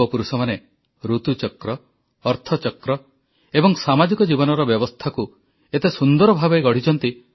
ଆମ ଦେଶ ଆଜିକାଲି ଗୋଟିଏ ପଟେ ବର୍ଷାର ଆନନ୍ଦ ଉପଭୋଗ କରୁଛି ତ ଅନ୍ୟପଟେ ଭାରତର କୋଣ ଅନୁକୋଣରେ କୌଣସି ନା କୌଣସି ପ୍ରକାର ଉତ୍ସବ ମେଳା ଆଦି ଚାଲିଛି ଯାହା ପ୍ରାୟ ଦୀପାବଳୀ ପର୍ଯ୍ୟନ୍ତ ଚାଲିବ